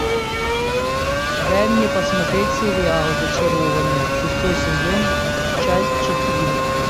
дай мне посмотреть сериал зачарованные шестой сезон часть четыре